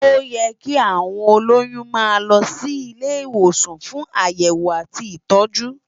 Óyè ki áwón ólóyùn má lò si ilé iwósàn fún àyèwó àtí itòjú